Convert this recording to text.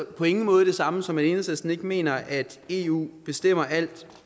på ingen måde det samme som at enhedslisten ikke mener at eu bestemmer alt